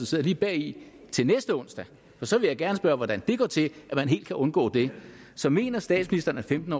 sidder lige bagved til næste onsdag for så vil jeg gerne spørge hvordan det går til at man helt kan undgå det så mener statsministeren at femten